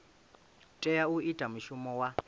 tea u ita mushumo wa